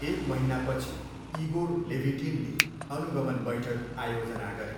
एक महिनापछि इगोर लेभिटिनले अनुगमन बैठक आयोजना गरे।